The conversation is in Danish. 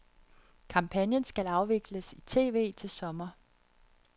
Kampagnen skal afvikles i tv til sommer.